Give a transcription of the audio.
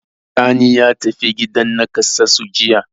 Sani ya tafi gidan naƙasassu jiya.